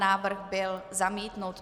Návrh byl zamítnut.